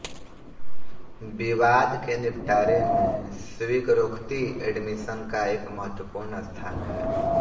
विवाद के निपटारे में स्वीकरोक्ति एडमिशन का एक महत्वपूर्ण स्थान है